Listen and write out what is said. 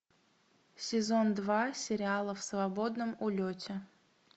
сезон два сериала в свободном улете